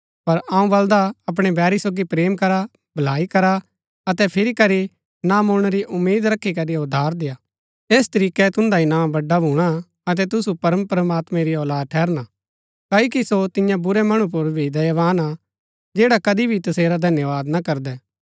पर अऊँ बलदा अपणै बैरी सोगी प्रेम करा भलाई करा अतै फिरी करी न मुळणै री उम्मीद रखी करी उधार देआ ऐस तरीकै तुन्दा इनाम बड़ा भूणा अतै तुसु परमप्रमात्मैं री औलाद ठहरना क्ओकि सो तियां बुरै मणु पुर भी दयावान हा जैडा कदी भी तसेरा धन्यवाद ना करदै